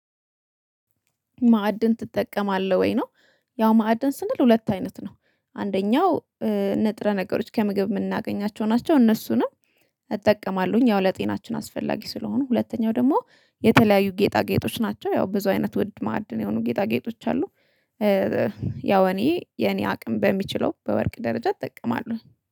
ማዕድን ትጠቀማለህ ወይ ነው? ያው ማዕድን ስንል ሁለት አይነት ነው አንደኛው ንጥረ ነገሮች ከምግብ የምናገኛቸው ናቸው። እነሱንም እጠቀማለሁኝ ያው ለጤናችን አስፈላጊ ስለሆኑ። ሁለተኛው ደግሞ የተለያዩ ጌጣጌጦች ናቸው ያው ብዙ አይነት ውድ ማዕድ የሆኑ ጌጣጌጦች አሉ። ያው እኔ የኔ አቅም በሚችለው በወርቅ ደረጃ እጠቀማለሁ